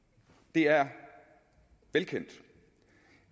det er velkendt